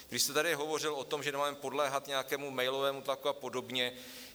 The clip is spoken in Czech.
Vy jste tady hovořil o tom, že nemáme podléhat nějakému mailovému tlaku a podobně.